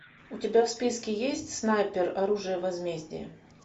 у тебя в списке есть снайпер оружие возмездия